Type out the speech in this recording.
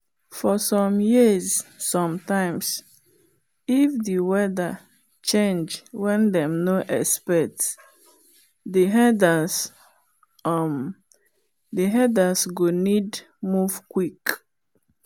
for some years sometimes if the weather change wen them nor expect the herders um go need move quick.